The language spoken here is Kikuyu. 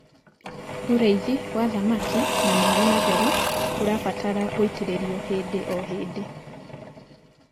ũrĩithi wa thamakĩ na maĩ matheru ũrabatara gũitiririo hĩndĩ o hĩndĩ